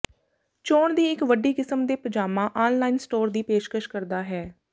ਚੋਣ ਦੀ ਇੱਕ ਵੱਡੀ ਕਿਸਮ ਦੇ ਪਜਾਮਾ ਆਨਲਾਈਨ ਸਟੋਰ ਦੀ ਪੇਸ਼ਕਸ਼ ਕਰਦਾ ਹੈ